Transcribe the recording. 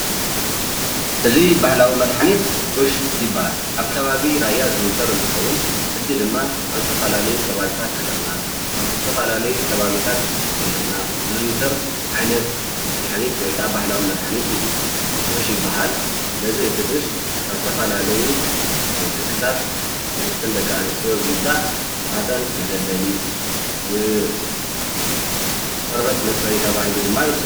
እዚ ባህላዊ መድሓኒት ጡሽ ይበሃል። አብ ከባቢ ራያ ዝዝውተር እንትኸዉን ሕጂ ድማ ኣብ ዝተፈላለዩ ከባቢታት ሃገርና አብ ዝተፈላለዩ ከባቢታት ክልልና ዝዝውተር ዓይነት መድሓኒት ወይ ከዓ ባህላዊ መድሓኒት እዩ። ጡሽ ይበሃል ። ስለዚ እቲ ጡሽ ካብ ዝተፈላለዩ ትክታት ናብተን ደቂ አንሰትዮ ብምምፃእ ማህፀን መደልደሊ ቆርበት መፅረዪ ተባሂሉ ድማ ይውሰድ።